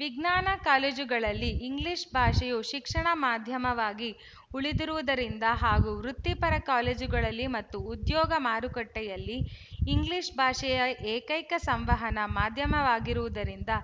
ವಿಜ್ಞಾನ ಕಾಲೇಜುಗಳಲ್ಲಿ ಇಂಗ್ಲಿಶ ಭಾಷೆಯು ಶಿಕ್ಷಣ ಮಾಧ್ಯಮವಾಗಿ ಉಳಿದಿರುವುದರಿಂದ ಹಾಗೂ ವೃತ್ತಿಪರ ಕಾಲೇಜುಗಳಲ್ಲಿ ಮತ್ತು ಉದ್ಯೋಗ ಮಾರುಕಟ್ಟೆಯಲ್ಲಿ ಇಂಗ್ಲಿಶ ಭಾಷೆಯ ಏಕೈಕ ಸಂವಹನ ಮಾಧ್ಯಮವಾಗಿರುವುದರಿಂದ